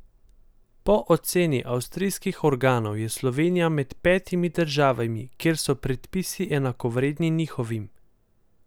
Po oceni avstrijskih organov je Slovenija med petimi državami, kjer so predpisi enakovredni njihovim.